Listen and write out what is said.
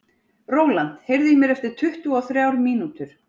Rólant, heyrðu í mér eftir tuttugu og þrjár mínútur.